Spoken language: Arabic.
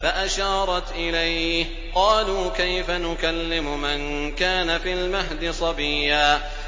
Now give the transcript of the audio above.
فَأَشَارَتْ إِلَيْهِ ۖ قَالُوا كَيْفَ نُكَلِّمُ مَن كَانَ فِي الْمَهْدِ صَبِيًّا